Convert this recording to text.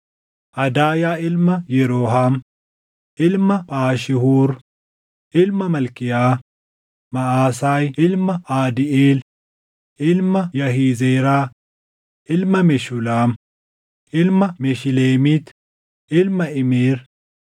Adaayaa ilma Yerooham, ilma Phaashihuur, ilma Malkiyaa; Maʼasaayi ilma Aadiiʼeel, ilma Yahizeeraa, ilma Meshulaam, ilma Meshileemiit, ilma Imeer.